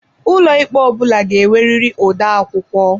Ụlọikpe ọ bụla ga-enwerịrị odeakwụkwọ.